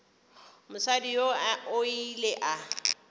mosadi yoo o ile a